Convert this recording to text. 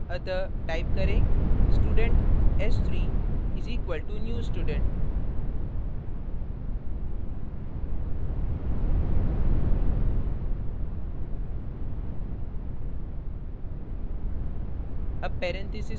अतः type करें student s3 = new student ;